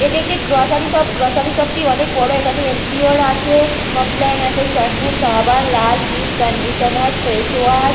এটা একটি grocery shop grocery শপ -টি অনেক বড় এখানে এনসিওর আছে কমপ্লান আছে শ্যাম্পু সাবান লালহিট কন্ডিশনার ফেস ওয়াশ ।